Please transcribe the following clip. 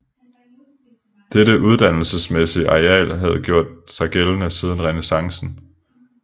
Dette uddannelsesmæssige ideal havde gjort sig gældende siden renæssancen